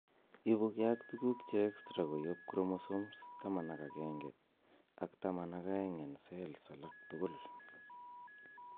Ipu ke ak tuguk che extra koyop chromosomes 11 ak 12 en cells alak tugul.